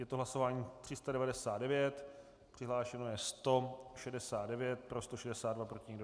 Je to hlasování 399, přihlášeno je 169, pro 162, proti nikdo.